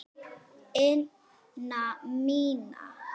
ina mína.